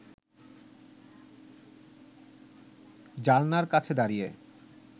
জানলার কাছে দাঁড়িয়ে